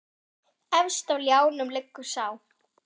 Efst á ljánum liggur sá.